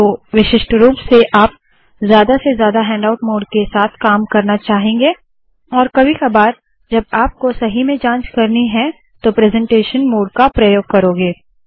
तो विशिष्ट रूप से आप ज्यादा से ज्यादा हैण्डआउट मोड के साथ काम करना चाहेंगे और कभी कबार जब आपको सही में जाँच करनी है तो प्रेसेंटेशन मोड का प्रयोग करोगे